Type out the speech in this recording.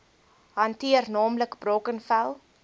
hanteer naamlik brackenfell